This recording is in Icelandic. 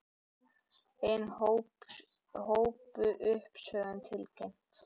Ein hópuppsögn tilkynnt